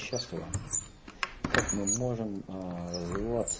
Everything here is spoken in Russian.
счастливы как мы можем развиваться